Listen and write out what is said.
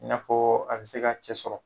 I n'a fɔ a bɛ se ka cɛ sɔrɔ.